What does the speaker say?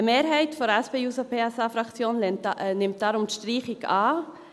Eine Mehrheit der SP-JUSO-PSA-Fraktion nimmt die Streichung daher an.